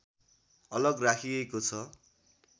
अलग राखिएको छ